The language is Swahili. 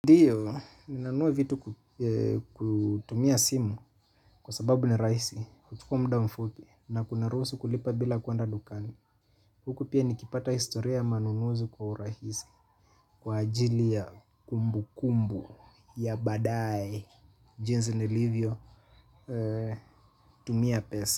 Ndiyo, ninanunua vitu kutumia simu, kwa sababu ni rahisi, huchukua muda mfupi, na kuniruhusu kulipa bila kwenda dukani. Huku pia nikipata historia ya manunuzu kwa urahisi, kwa ajili ya kumbukumbu ya baadaye jinsi nilivyotumia pesa.